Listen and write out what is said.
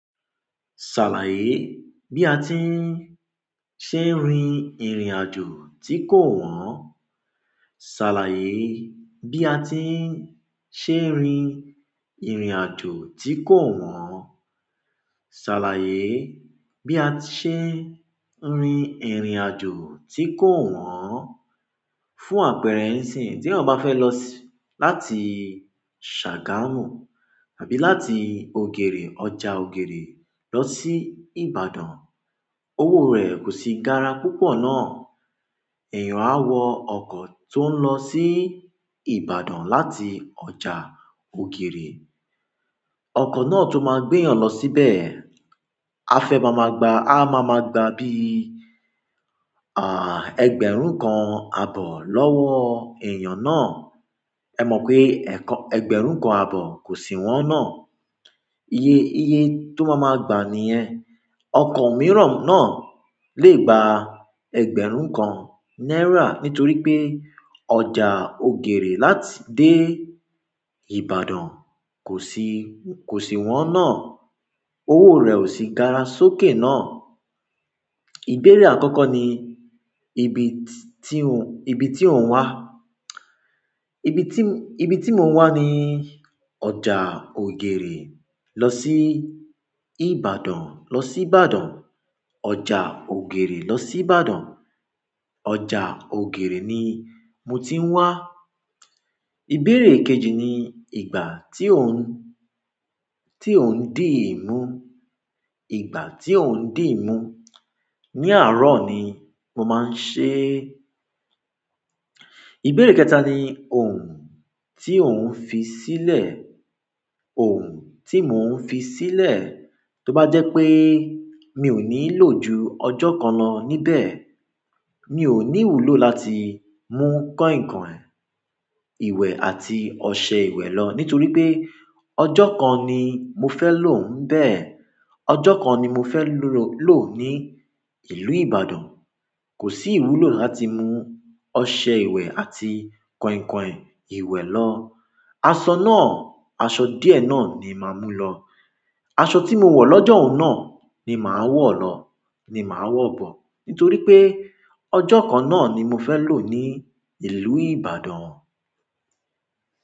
Ṣàlàyé bí a ti ń ṣe rin ìrìn àjò tí kò wọ́n. Ṣàlàyé bí a ti ń ṣe rin ìrìn àjò tí kò wọ́n. Ṣàlàyé bí a ti ṣe rin ìrìn àjò tí kò wọ́n. Fún àpẹẹrẹ ǹsìn, tí ẹ̀yin ò bá fẹ́ lọ láti Sagamu àbí láti ògèrè, ọjà ògèrè lọ sí Ìbàdàn, owó rẹ̀ kò sì gara púpọ̀ náà, èèyàn á wọ ọkọ̀ tó ń lọ sí Ìbàdàn láti ọjà ògèrè. Ọkọ̀ náà tó máa gbé èèyàn lọ síbẹ̀, a fẹ́ máa máa gbà, a máa máa gbà bí, ẹgbẹ̀rún kan àbọ̀ lọ́wọ́ èèyàn náà. Ẹ mọ̀ pé, ẹgbẹ̀rún kan àbọ̀ kò sì wọ́n náà. Iye, iye tó máa máa gbà nìyẹn. Ọkọ̀ mìíràn náà lè gba ẹgbẹ̀rún kan náírà nítorí pé ọjà ògèrè láti dé Ìbàdàn kò sì, kò sì wọ́n náà. Owó rẹ̀ ò sì gara sókè náà. Ìbéèrè àkọ́kọ́ ni ibi tí ò wà. Ibi tí mo wà ni ọjà ògèrè lọ sí Ìbàdàn, lọ sí Ìbàdàn. Ọjà ògèrè lọ sí Ìbàdàn. Ọjà ògèrè ni mo ti ń wà. Ìbéèrè kejì ni ìgbà tí ò n dí ì mu. Ìgbà tí ò n dí ì mu. Ní àárọ̀ ni mo máa ń ṣe. Ìbéèrè kẹta ni ohun tí ò n fi sílẹ̀. Ohun tí mò ń fi sílẹ̀. Tó bá jẹ́ pé mi ò ní lò ju ọjọ́ kan lọ níbẹ̀. Mi ò ní ìwúlò láti mú kọ̀inkọìn ìwẹ̀ àti ọṣẹ ìwẹ̀ lọ nítorí pé ọjọ́ kan ni mo fẹ́ lò ń bẹ. Ọjọ́ kan ni mo fẹ́ lò ní ìlú Ìbàdàn. Kò sí ìwúlò láti mú ọṣẹ ìwẹ̀ àti kọ̀inkọ̀in ìwẹ̀ lọ. Aṣọ náà, aṣọ díẹ̀ náà ni màá mú lọ. Aṣọ tí mo wọ̀ lọ́jọ́ un náà ni màá wọ̀ lọ, ni màá wọ̀ bọ̀ nítorí pé ọjọ́ kan náà ni mo fẹ́ lò ní ìlú Ìbàdàn.